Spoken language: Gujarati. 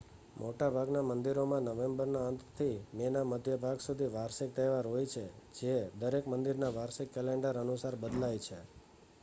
મોટાભાગના મંદિરોમાં નવેમ્બરના અંતથી મેના મધ્ય સુધી વાર્ષિક તહેવાર હોય છે જે દરેક મંદિરના વાર્ષિક કેલેન્ડર અનુસાર બદલાય છે